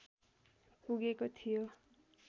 पुगेको थियो